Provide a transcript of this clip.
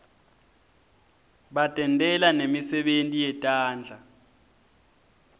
batentela nemisebenti yetandla